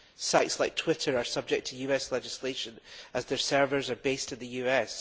Sites like Twitter are subject to US legislation, as their servers are based in the US.